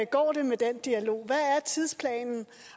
går med den dialog hvad er tidsplanen